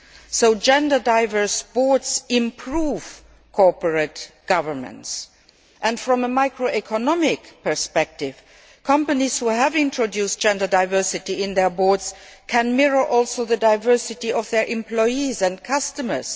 So gender diverse boards improve corporate governance and, from a micro economic perspective, companies that have introduced gender diversity on their boards can also mirror the diversity of their employees and customers.